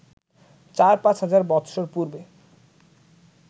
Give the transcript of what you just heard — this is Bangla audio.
চার পাঁচ হাজার বৎসর পূর্ব্বে